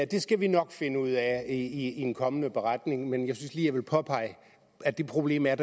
det skal vi nok finde ud af i en kommende beretning men jeg synes jeg lige ville påpege at det problem er